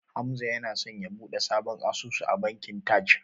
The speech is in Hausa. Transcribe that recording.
Hamza yana so ya buɗe sabon asusu a bankin Taj.